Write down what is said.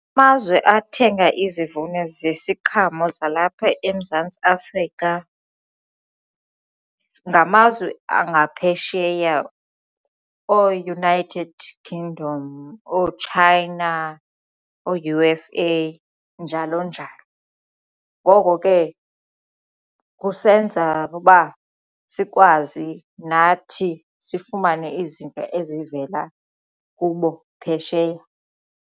Amazwe athenga izivuno zesiqhelo zalapha eMzantsi Afrika ngamazwe angaphesheya ooUnited Kingdom ooChina oo-U_S_A njalo njalo. Ngoko ke kusenza uba sikwazi nathi sifumane izinto ezivela kubo phesheya.